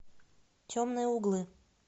темные углы